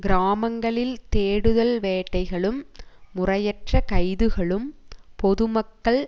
கிராமங்களில் தேடுதல் வேட்டைகளும் முறையற்ற கைதுகளும் பொதுமக்கள்